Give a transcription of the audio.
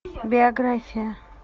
биография